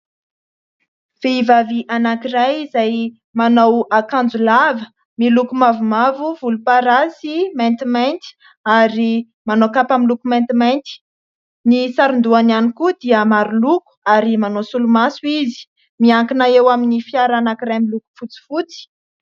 Vehivavy anankiray izay manao akanjo lava miloko mavomavo, volomparasy, maintimainty ary manao kapa miloko maintimainty, ny saron-dohany ihany koa dia maro loko ary manao solomaso izy, miankina eo amin'ny fiara anankiray miloko fotsifotsy.